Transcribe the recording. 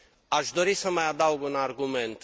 Aș dori să mai adaug un argument.